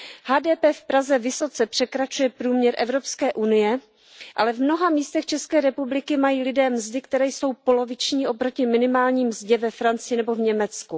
HDP v Praze vysoce překračuje průměr Evropské unie, ale v mnoha místech České republiky mají lidé mzdy, které jsou poloviční oproti minimální mzdě ve Francii nebo v Německu.